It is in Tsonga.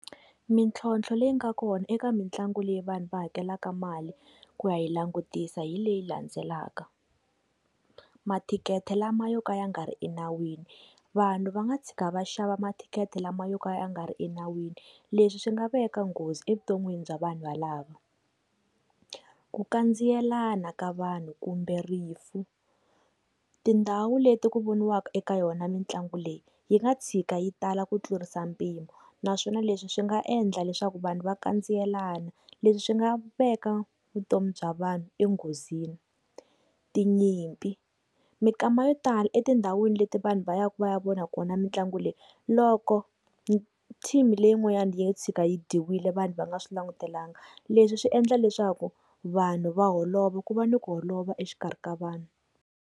Mintlhotlho leyi nga kona eka mitlangu leyi vanhu va hakelaka mali ku ya yi langutisa hi leyi landzelaka, matikhete lama yo ka ya nga ri enawini vanhu va nga tshika va xava matikhete lama yo ka ya nga ri enawini leswi swi nga veka nghozi evuton'wini bya vanhu valava, ku kandziyelana ka vanhu kumbe rifu tindhawu leti ku voniwaka eka yona mitlangu leyi yi nga tshika yi tala ku tlurisa mpimo naswona leswi swi nga endla leswaku vanhu va kandziyelana leswi swi nga veka vutomi bya vanhu enghozini. Tinyimpi, mikama yo tala etindhawini leti vanhu va yaka va ya vona kona mitlangu leyi loko team leyin'wana ya tshika yi dyiwile vanhu va nga swi langutelanga leswi swi endla leswaku vanhu va holova ku va ni ku holova exikarhi ka vanhu.